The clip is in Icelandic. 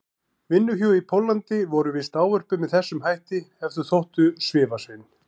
vinnuhjú í Póllandi voru víst ávörpuð með þessum hætti ef þau þóttu svifasein.